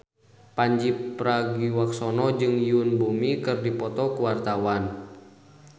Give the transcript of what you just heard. Pandji Pragiwaksono jeung Yoon Bomi keur dipoto ku wartawan